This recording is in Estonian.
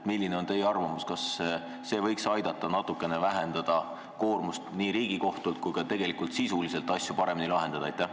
Milline on teie arvamus, kas see lepitusmenetlus võiks aidata natukene vähendada nii Riigikohtu koormust kui aidata ka sisuliselt asju paremini lahendada?